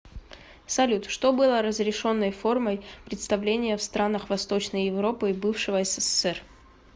салют что было разрешенной формой представления в странах восточной европы и бывшего ссср